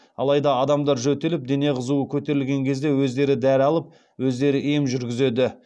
алайда адамдар жөтеліп дене қызуы көтерілген кезде өздері дәрі алып өздері ем жүргізеді